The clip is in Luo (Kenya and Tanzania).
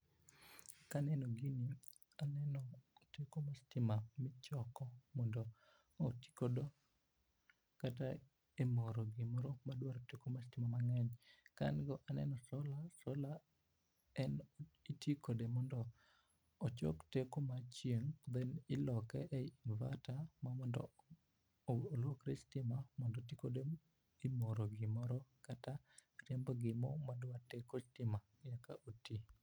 Kaneno gini aneno, teko mar stima michoko mondo oti godo kata emoro gimoro ma dwaro teko mar stima mang'eny ka ang'iyo aneno solar, solar en iti kode mondo ochok teko mar chieng' then iloke e inverter ma mondo olokre stima mondo oti kode emoro gimoro kata riembo gimoro madwa teko stima eka oti.